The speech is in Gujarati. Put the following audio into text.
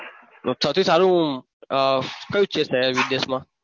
તો સૌથી સારું શહેર કયું છે શહેર વિદેશમાં?